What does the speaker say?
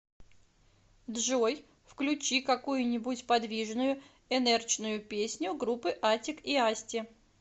джой включи какую нибудь подвижную энерчную песню группы атик и асти